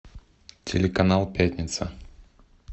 телеканал пятница